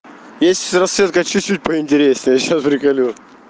есть расцветка чуть-чуть поинтереснее сейчас приколю